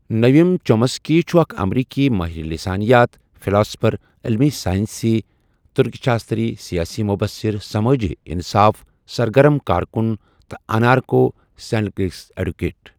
نٲؤم Chomsky چھُہ اَکھ امریکی ماہر لسانیات، فِلاسفَر، علمی ساینٔسی، ترکشاستری، سیاسی مبصر، سَمٲجی انصاف سرگرم کار کُن، تہٕ انارکو سیندکلسٹ ایڈووکیٹ۔